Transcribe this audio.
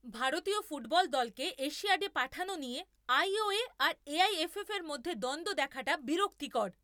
ভারতীয় ফুটবল দলকে এশিয়াডে পাঠানো নিয়ে আই ও এ আর এ আই এফ এফ এর মধ্যে দ্বন্দ্ব দেখাটা বিরক্তিকর।